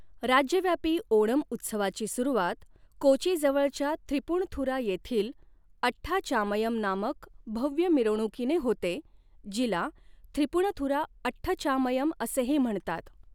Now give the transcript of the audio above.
राज्यव्यापी ओणम उत्सवाची सुरुवात कोचीजवळच्या थ्रिप्पुनिथुरा येथील अठ्ठाचामयम नामक भव्य मिरवणुकीने होते, जिला थ्रिपुनिथुरा अठचामयम असेही म्हणतात.